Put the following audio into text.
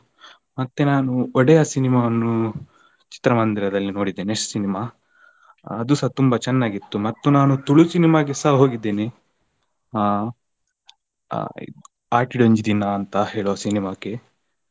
ಮತ್ತೆ ನಾನು ಒಡೆಯ cinema ವನ್ನು ಚಿತ್ರಮಂದಿರದಲ್ಲಿ ನೋಡಿದ್ದೇನೆ next cinema , ಅದುಸ ತುಂಬಾ ಚೆನ್ನಾಗಿತ್ತು. ಮತ್ತು ನಾನು ತುಳು cinema ಗೆಸಾ ಹೋಗಿದ್ದೀನಿ ಅಹ್ ಅಹ್ ಆಟಿಡ್ ಒಂಜಿ ದಿನ ಅಂತ ಹೇಳೋ cinema ಕ್ಕೆ.